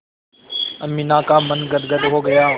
अमीना का मन गदगद हो गया